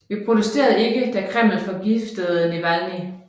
Vi protesterede ikke da Kreml forgiftede Navalnyj